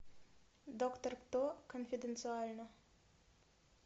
доктор кто конфиденциально